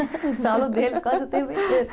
Eu falo deles quase o tempo inteiro.